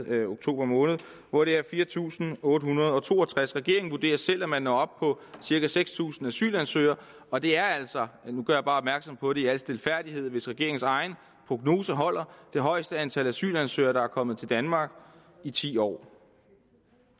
med oktober måned hvor det er fire tusind otte hundrede og to og tres regeringen vurderer selv at man når op på cirka seks tusind asylansøgere og det er altså nu gør jeg bare opmærksom på det i al stilfærdighed hvis regeringens egen prognose holder det højeste antal asylansøgere der er kommet til danmark i ti år